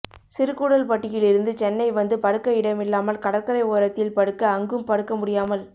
சிறு கூடல்பட்டியில் இருந்து சென்னை வந்து படுக்க இடமில்லாமல் கடற்கரை ஓரத்தில் படுக்க அங்கும் படுக்க முடியாமல்